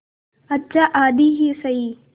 अच्छा आधी ही सही